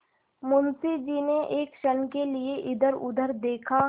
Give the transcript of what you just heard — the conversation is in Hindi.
मुंशी जी ने एक क्षण के लिए इधरउधर देखा